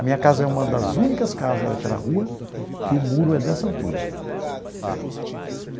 A minha casa é uma das únicas casas daquela rua que o muro é dessa altura.